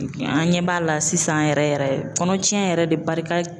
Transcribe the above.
An ɲɛ b'a la sisan yɛrɛ yɛrɛ kɔnɔcɛn yɛrɛ de barika